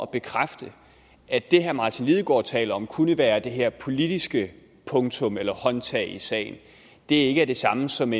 bekræfte at det herre martin lidegaard taler om kunne være det her politiske punktum eller håndtag i sagen ikke er det samme som